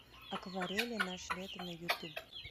акварели наше лето на ютуб